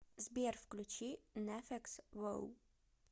сбер включи неффекс воу